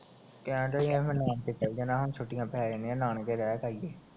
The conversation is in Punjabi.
ਕਹਿਨਡਿਆ ਈ ਮੈਨੂੰ ਕੰਮ ਤੇ ਚਲ ਜਾਨਾ, ਹੁਣ ਛੂਟੀਆਂ ਪੈ ਜਾਣੀਆਂ ਨਾਨਕੇ ਰਹਿ ਕੇ ਆਈਏ